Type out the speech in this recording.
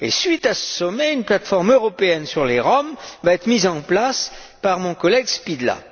À la suite de ce sommet, une plateforme européenne sur les Roms sera mise en place par mon collègue Špidla.